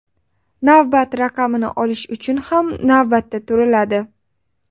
Navbat raqamini olish uchun ham navbatga turiladi.